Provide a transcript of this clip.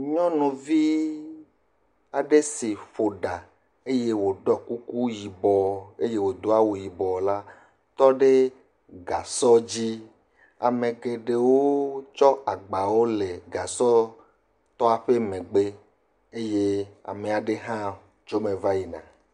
Nyɔnuvi aɖe si ƒo ɖa eye woɖɔ kuku yibɔ eye wodo awu yibɔ la tɔ ɖe gasɔ dzi. Ame geɖewo tsɔ agbawo le gasɔtɔ ƒe megbe eye ame aɖe hã tso eme va yina.